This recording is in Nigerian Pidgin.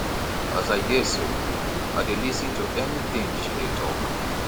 as i dey so i dey lis ten to any thing she dey talk